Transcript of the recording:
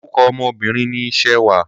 Orúkọ ọmọ Obìnrin ni Ṣewà.